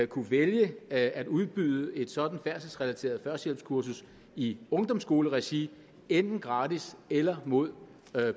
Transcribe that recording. kunne vælge at at udbyde et sådant færdselsrelateret førstehjælpskursus i ungdomsskoleregi enten gratis eller mod